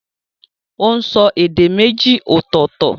Ó n so èdè méjì ọ̀tọ̀ọ̀tọ̀